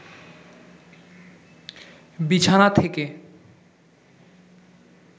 বিছানা থেকে